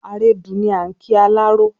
"Àrẹdù" ni à n kí alárọ